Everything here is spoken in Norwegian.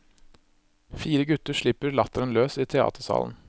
Fire gutter slipper latteren løs i teatersalen.